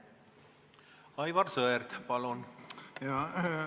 Aivar Sõerd, palun!